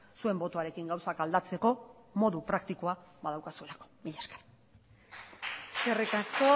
zuen botoarekin gauzak aldatzeko modu praktikoa badaukazuelako mila esker eskerrik asko